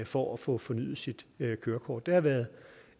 for at få fornyet sit kørekort det har været